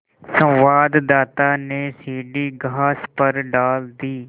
संवाददाता ने सीढ़ी घास पर डाल दी